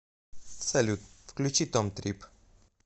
салют включи том трипп